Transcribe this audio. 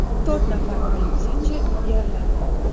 To‘rt nafar politsiyachi yaralandi.